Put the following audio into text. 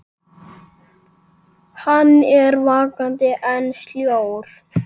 Hann er vakandi en sljór.